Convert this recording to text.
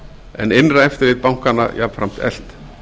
en innra eftirlit bankanna jafnframt eflt